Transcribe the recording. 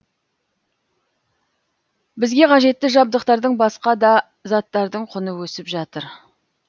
бізге қажетті жабдықтардың басқа да заттардың құны өсіп жатыр